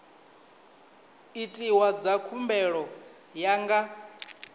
itiwa dza khumbelo ya nga